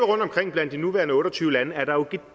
rundtomkring blandt de nuværende otte og tyve lande er der jo